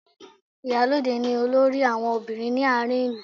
Ìyálóde ni olórí àwọn ọbìnrin ní àárín ìlú